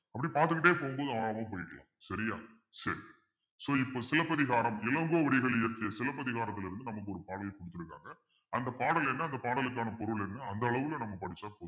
அப்படியே பார்த்துக்கிட்டே போகும்போது ஆழமா போயிக்கலாம் சரியா சரி so இப்ப சிலப்பதிகாரம் இளங்கோவடிகள் இருக்கு சிலப்பதிகாரத்துல இருந்து நமக்கு ஒரு பாடல் கொடுத்திருக்காங்க அந்த பாடல் என்ன அந்த பாடலுக்கான பொருள் என்ன அந்த அளவுல நம்ம படிச்சா போதும்